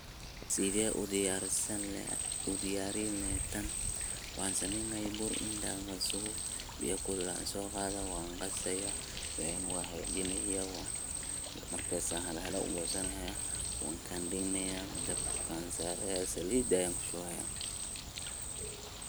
Sethee u diyarisay u diyarinlaheet taan waxan sameeyn lahay buur inti qaasoh biya kulul AA soqathoh wanqasaya then wanhagajeenaya markas Aya haalahala u goosanaya wangandenneyah wansraya saleet Aya ku shubaya .